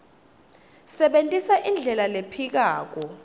sebentisa indlela lephikako